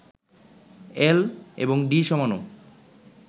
এল এবং ডি সমাণু